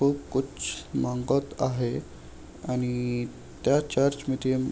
तो कुछ मागत आहे आणि त्या चर्च --